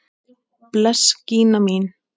Bless Gína mín!